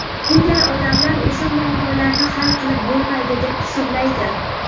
bunday odamlar o‘sha muammolarni hal qilib bo‘lmaydi deb hisoblaydi.